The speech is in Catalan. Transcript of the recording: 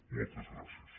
moltes gràcies